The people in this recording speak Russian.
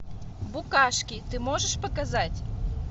букашки ты можешь показать